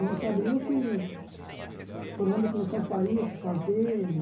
Não sabe nem o que... Por onde começar a sair, o que fazer.